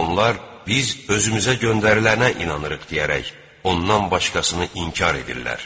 onlar: “Biz özümüzə göndərilənə inanırıq!” – deyərək ondan başqasını inkar edirlər.